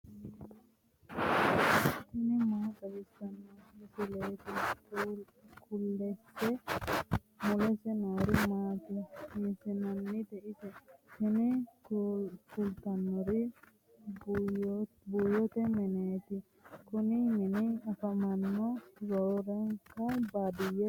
tini maa xawissanno misileeti ? mulese noori maati ? hiissinannite ise ? tini kultannori buuyyote mineeti. kuni mini afamanno roorenka baadiyyete qooxeessiraati.